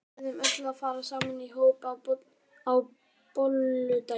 Við verðum öll að fara saman í hóp á bolludaginn.